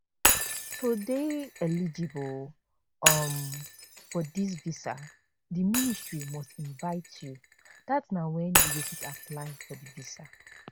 to dey eligible um for dis visa di ministry must invite you dat na wen you go fit apply for di visa